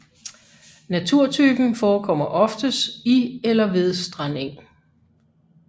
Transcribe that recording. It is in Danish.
Naturtypen forekommer oftest i eller ved strandeng